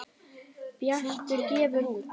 Bjartur gefur út.